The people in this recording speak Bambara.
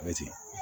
A bɛ ten